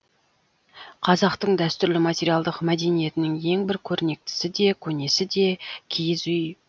қазақтың дәстүрлі материалдық мәдениетінің ең бір көрнектісі де көнесі де киіз үй